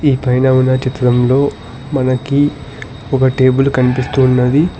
ఈ పైన ఉన్న చిత్రంలో మనకి ఒక టేబుల్ కనిపిస్తున్నది.